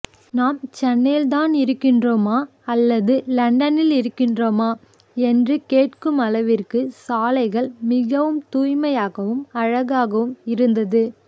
நாம் சென்னையில் தான் இருக்கிறோமா அல்லது இலண்டனில் இருக்கின்றோமா என்று கேட்கும் அளவிற்கு சாலைகள் மிகவும் தூய்மையாகவும் அழகாகவும் இருந்தது